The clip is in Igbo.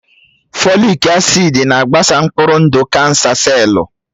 Fòlị́k acị́d na-agbasa mkpụrụ ndụ kánsà sellù